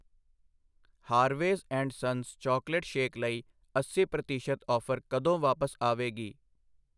Harveys and sons chocolate shake ਲਈ ਅੱਸੀ ਪ੍ਰਤੀਸ਼ਤ ਔਫਰ ਕਦੋਂ ਵਾਪਸ ਆਵੇਗੀ?